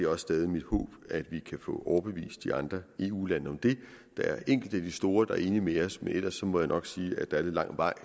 også stadig mit håb at vi kan få overbevist de andre eu lande om det der er enkelte af de store der er enige med os men ellers må jeg nok sige at der er lidt lang vej